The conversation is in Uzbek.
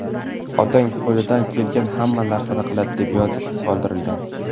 Otang qo‘lidan kelgan hamma narsani qiladi”, deb yozib qoldirgan.